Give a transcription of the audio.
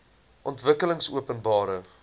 ontwikkelingopenbare